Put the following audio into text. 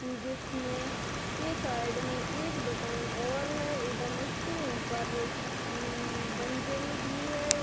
जिसमे के साइड मे एक दुकान और है एवं इसके ऊपर उम्म्म मंजिल भी है।